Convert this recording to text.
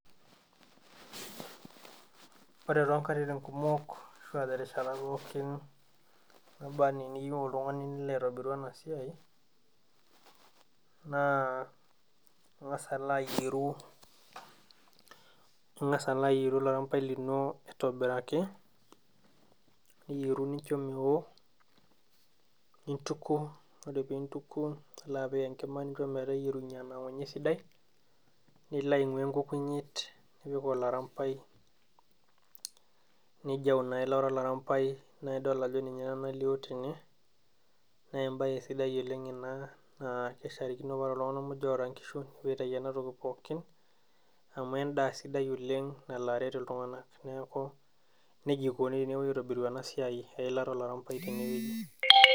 Ore tonkatitin kumok ashua terishat pookin naba anaa eniyieu oltung'ani nilo aitobiru ena siai naa ing'as alo ayieru ing'as alo ayieru olarampai lino aitobiraki niyieru nincho mewo nintuku ore pintuku nilo apik enkima nincho meteyierunyie anang'unye esidai nilo aing'ua enkukunyiet nipik olarambai nijau ina ilata olarambai naidol ajo ninye ena nalio tene nembaye sidai oleng ina naa kesharikino paore iltung'anak muj oota inkishu nepuo aitai enatoki pookin amu endaa sidai oleng nalo aret iltung'anak neeku nejia ikoni tenepuoi aitobiru ena siai eilata olarampai tenewueji.